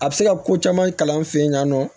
A bɛ se ka ko caman kalan an fɛ yen nɔ